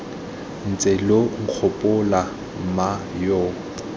ntse lo nkgopola mma yo